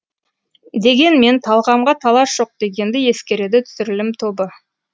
дегенмен талғамға талас жоқ дегенді ескереді түсірілім тобы